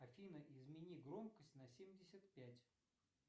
афина измени громкость на семьдесят пять